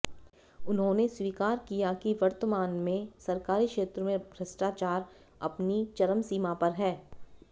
उन्होंने स्वीकार किया कि वर्तमान में सरकारी क्षेत्र में भ्रष्टाचार अपनी चरम सीमा पर है